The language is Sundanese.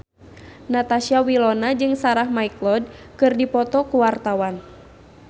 Natasha Wilona jeung Sarah McLeod keur dipoto ku wartawan